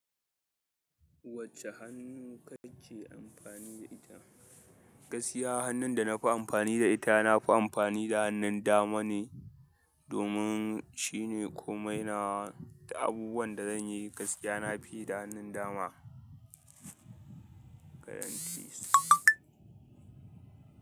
Wacce hannu kake amfani da ita? Gaskiya hannun da na fi amfani da ita, na fi amfani da hannun dama ne domin shine komai nawa da abubuwan da zanyi gaskiya nafi yi da hannun dama.